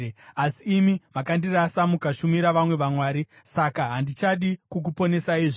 Asi imi makandirasa mukashumira vamwe vamwari, saka handichadi kukuponesaizve.